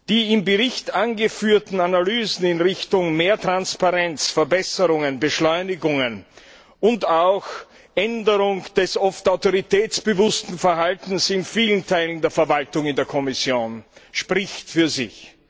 Die im Bericht angeführten Analysen, durch die mehr Transparenz, Verbesserungen, Beschleunigungen und auch eine Änderung des oft autoritätsbewussten Verhaltens in vielen Teilen der Verwaltung der Kommission gefördert werden, sprechen für sich.